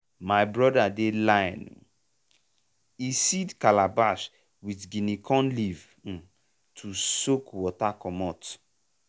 my brother dey line e seed calabash with guinea corn leaf um to soak water commot.